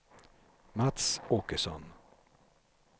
Mats Åkesson